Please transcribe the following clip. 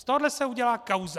Z tohoto se udělá kauza.